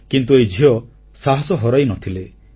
କିନ୍ତୁ ଏହି ଝିଅ ସାହସ ହରାଇନଥିଲେ